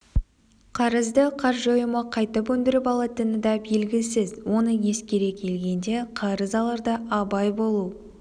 қарызды қаржы ұйымы қайтып өндіріп алатыны да белгісіз осыны ескере келгенде қарыз аларда абай болу